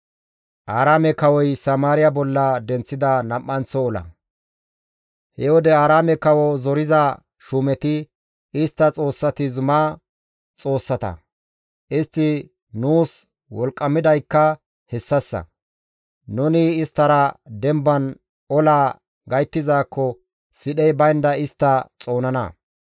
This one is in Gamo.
He wode Aaraame kawo zoriza shuumeti, «Istta xoossati zuma xoossata; istti nuus wolqqamidaykka hessassa. Nuni isttara demban olaa gayttizaakko sidhey baynda istta xoonana.